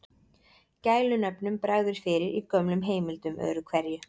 Gælunöfnum bregður fyrir í gömlum heimildum öðru hverju.